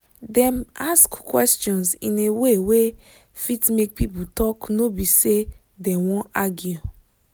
dem ask questions in a way wey fit make people talk no be say dem wan argue